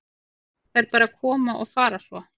Þær bara koma og fara svo.